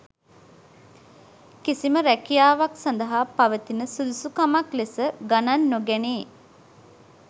කිසිම රැකියාවක් සඳහා පවතින සුදුසුකමක් ලෙස ගණන් නොගැනේ.